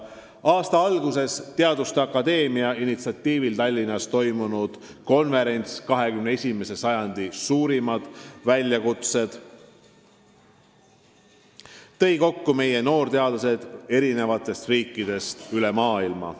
Aasta alguses Eesti Teaduste Akadeemia initsiatiivil Tallinnas toimunud konverents "XXI sajandi suurimad väljakutsed" tõi kokku meie noorteadlased eri riikidest üle maailma.